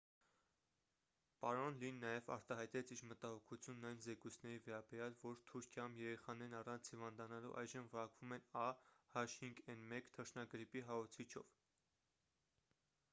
պարոն լին նաև արտահայտեց իր մտահոգությունն այն զեկույցների վերաբերյալ որ թուրքիայում երեխաներն առանց հիվանդանալու այժմ վարակվում են a h5n1 թռչնագրիպի հարուցիչով։